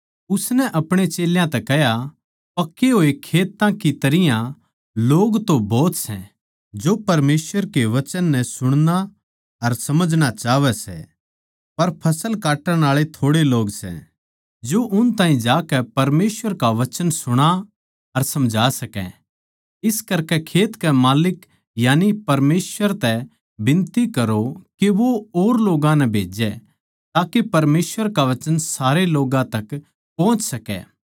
उसनै अपणे चेल्यां तै कह्या पके होए खेत्तां की तरियां लोग तो भोत सै जो परमेसवर के वचन नै सुणणा अर समझणा चाहवै सै पर फसल काट्टण आळे थोड़े लोग सै जो उन ताहीं जाकै परमेसवर का वचन सुणा अर समझा सकै इस करकै खेत के माल्लिक यानी परमेसवर तै बिनती करो के वो और लोग्गां नै भेजै ताके परमेसवर का वचन सारे लोग्गां तक पोहच सकै सै